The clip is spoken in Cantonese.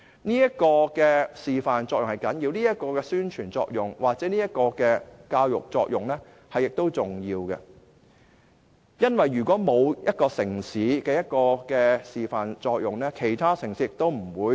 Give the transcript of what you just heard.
這種示範作用、宣傳作用或教育作用是重要的，因為如果沒有一個城市能起示範作用，其他城市亦不會跟隨。